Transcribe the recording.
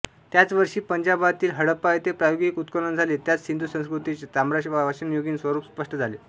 त्याच वर्षी पंजाबातील हडप्पा येथे प्रायोगिक उत्खनन झाले त्यात सिंधू संस्कृतीचे ताम्रपाषाणयुगीन स्वरूप स्पष्ट झाले